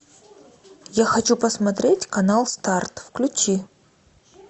я хочу посмотреть канал старт включи